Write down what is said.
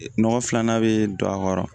Nɔgɔ filanan bɛ don a kɔrɔ